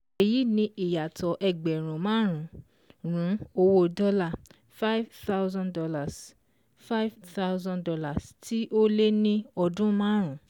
Èyí ni ìyàtọ̀ ẹgbẹ̀rún márùn-ún owó dọ́là five thousand dollars five thousand dollars tí ó lé ní ọdún márùn-ún